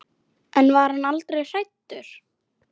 En var hann aldrei hræddur?